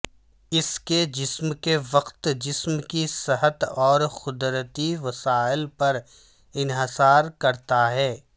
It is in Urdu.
اس کے جسم کے وقت جسم کی صحت اور قدرتی وسائل پر انحصار کرتا ہے